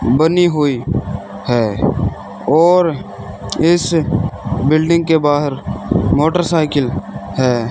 बनी हुई हैं और इस बिल्डिंग के बाहर मोटरसाइकिल हैं।